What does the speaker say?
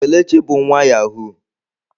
Kelechi bu nwa yahụụ.